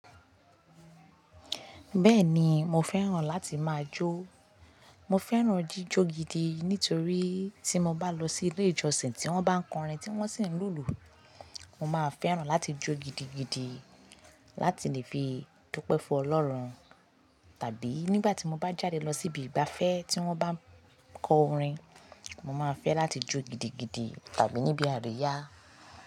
Bẹ́ẹ̀ni mo fẹ́ràn láti máa jó. Mo fẹ́ràn jíjó gidi nítorí tí mo bá lọ sí ilé ìjọsìn tí wọ́n bá ń kọ orin tí wọ́n sì ń lùlù, mo máa fẹ́ràn láti jó gidigidi láti lè fi dúpẹ́ fún Ọlọ́run. Tàbí nígbà tí mo bá jáde lọ síbi ìgbafẹ́ tí wọ́n bá ń kọ orin, mo máa fẹ́ láti jó gidigidi tàbí níbi àríyá.